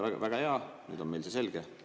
Väga hea, nüüd on meil see selge.